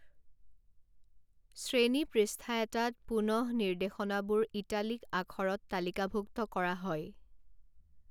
শ্ৰেণী পৃষ্ঠা এটাত, পুনঃনিৰ্দেশনাবোৰ ইটালিক আখৰত তালিকাভুক্ত কৰা হয়।